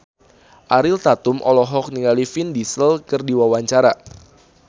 Ariel Tatum olohok ningali Vin Diesel keur diwawancara